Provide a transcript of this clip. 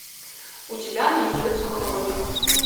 у тебя найдется хроник